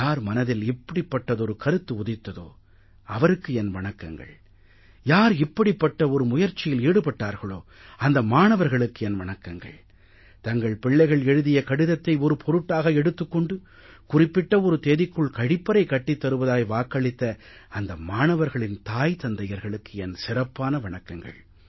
யார் மனதில் இப்படிப்பட்டதொரு கருத்து உதித்ததோ அவருக்கு என் வணக்கங்கள் யார் இப்படிப்பட்ட ஒரு முயற்சியில் ஈடுபட்டார்களோ அந்த மாணவர்களுக்கு என் வணக்கங்கள் தங்களின் பிள்ளைகள் எழுதிய கடிதத்தை ஒரு பொருட்டாக எடுத்துக் கொண்டு குறிப்பிட்ட ஒரு தேதிக்குள் கழிப்பறை கட்டித் தருவதாய் வாக்களித்த அந்த மாணவர்களின் தாய் தந்தையர்களுக்கு என் சிறப்பான வணக்கங்கள்